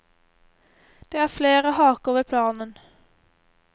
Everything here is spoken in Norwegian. Det er flere haker ved planen.